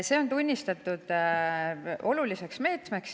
See on tunnistatud oluliseks meetmeks.